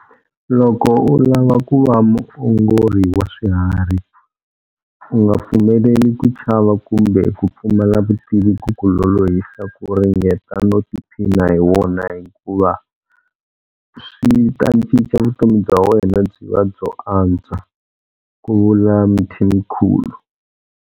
Loko u lava ku va muongori wa swiharhi, u nga pfumeleli ku chava kumbe ku pfumala vutivi ku ku lolohisa ku ringeta no tiphina hi wona hikuva swi ta cinca vutomi bya wena byi va byo antswa, ku vula Mthimkhulu.